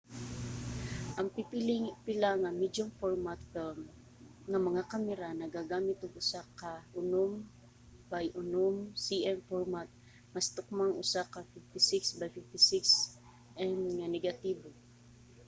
ang pipila nga medium-format film nga mga kamera nagagamit og usa ka 6 by 6 cm format mas tukmang usa ka 56 by 56 mm nga negatibo